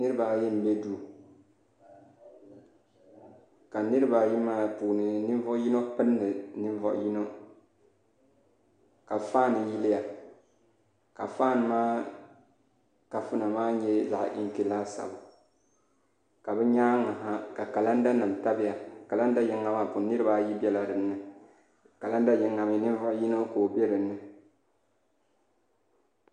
Niraba ayi n bɛ duu ka niraba ayi maa puuni ninvuɣu yino pindi ninvuɣu yino ka faan yiliya ka faan maa kafuna maa nyɛ zaɣ inki laasabu ka bi nyaangi ha ka kalanda nim tabiya kalanda yinga maa puuni niraba ayi biɛla dinni kalanda yinga mii ninvuɣu yino ka o bɛ dinni